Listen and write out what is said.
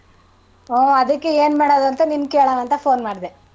ಹೂ ಅದಿಕ್ಕೆ ಏನ್ ಮಾಡದು ಅಂತ ನಿನ್ ಕೇಳನ ಅಂತ phone ಮಾಡ್ದೆ.